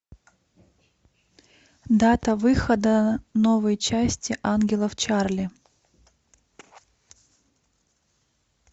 дата выхода новой части ангелов чарли